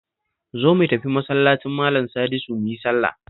Zo mu tafi Masallacin Malan Sadisu mu yi sallah